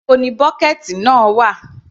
Níbo ni bọ́kẹ̀ẹ̀tì náà wà.